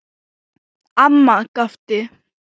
Amma gapti.